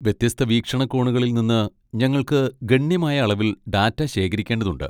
വ്യത്യസ്ത വീക്ഷണകോണുകളിൽ നിന്ന് ഞങ്ങൾക്ക് ഗണ്യമായ അളവിൽ ഡാറ്റ ശേഖരിക്കേണ്ടതുണ്ട്.